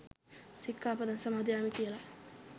සික්කාපදං සමාදියාමි කියල.